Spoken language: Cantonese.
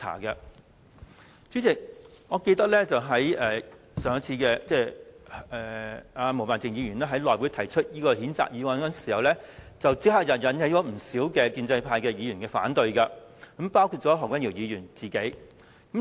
代理主席，我記得毛孟靜議員上次在內務委員會上提出這項譴責議案時，立刻引起不少建制派議員的反對，包括何君堯議員本人。